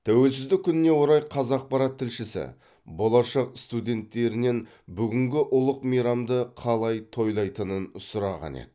тәуелсіздік күніне орай қазақпарат тілшісі болашақ студенттерінен бүгінгі ұлық мейрамды қалай тойлайтынын сұраған еді